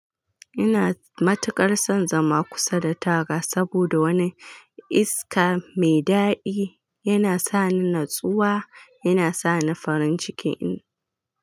Ina matuƙar son zama kusa da taga saboda wani iska mai daɗi yana sani natsuwa, yana sani farin ciki in.